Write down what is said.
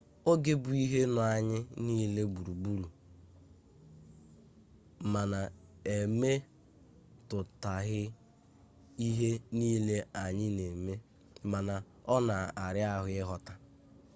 oge bụ ihe nọ anyị niile gburugburu ma na-emetụta ihe niile anyị na-eme mana ọ na-ara ahụ ịghọta